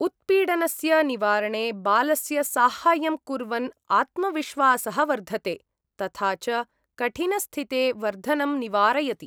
उत्पीडनस्य निवारणे बालस्य साहाय्यं कुर्वन् आत्मविश्वासः वर्धते, तथा च कठिनस्थिते वर्धनं निवारयति।